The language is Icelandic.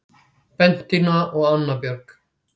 Bentína og Anna Björg